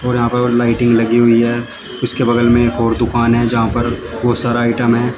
और यहां पर लाइटिंग लगी हुई है उसके बगल में एक और दुकान है जहां पर बहोत सारा आईटम है।